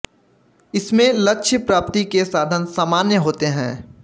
इसमें लक्ष्य प्राप्ति के साधन सामान्य होते हैं